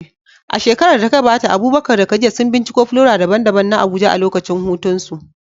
A shekarar da ta gabata Abubakar da Khadija sun binciko flora daban-daban na Abuja a lokacin hutunsu.